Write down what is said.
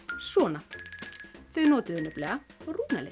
svona þau notuðu nefnilega